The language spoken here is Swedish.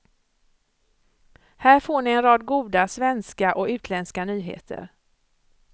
Här får ni en rad goda, svenska och utländska nyheter.